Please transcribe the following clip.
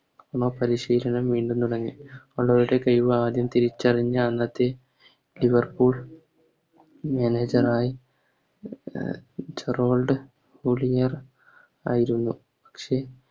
പരിശീലനം വീണ്ടും തുടങ്ങി റോണോയുടെ കഴിവ് ആദ്യം തിരിച്ചറിഞ്ഞ അന്നത്തെ Liverpool manager ആയ ജെറാർഡ് ഹുലിർ ആയിരുന്നു പക്ഷെ